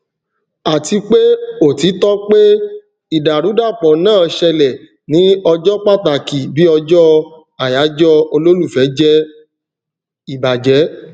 àti pé òtítọ pé ìdàrúdàpọ náà ṣẹlẹ ní ọjọ pàtàkì bí ọjọ àyájọ olólùfẹ jẹ ìbàjẹ